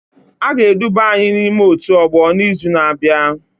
A ga-eduba anyị n'ime otu ọgbọ n'izu na-abịa